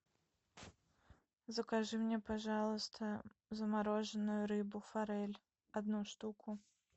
закажи мне пожалуйста замороженную рыбу форель одну штуку